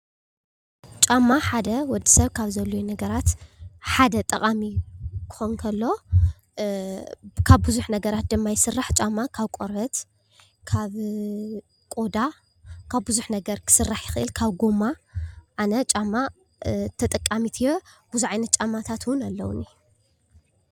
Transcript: ጫማ ሓደ ወዲ ሰብ ካብ ዘድልዮም ነገራት ሓደ ጠቃሚ ክኸውን ከሎ ካብ ብዙሕ ነገራት ድማ ይስራሕ፡፡ ጫማ ካብ ቆርበት፣ ካብ ቆዳ ካብ ብዙሕ ነገር ክስራሕ ይኽእል ካብ ጎማ ኣነ ጫማ ተጠቃሚት እየ፡፡ ብዙሕ ዓይነት ጫማታት ውን ኣለውኒ፡፡